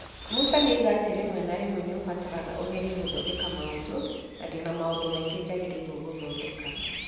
Musa nĩoiga atĩ rĩmwe na rĩmwe nĩũbataraga ũgerie kũthodeka maũndũ, na ndĩna maũndũ maingĩ njagĩrĩirwo kuthodeka",